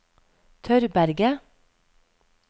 Tørberget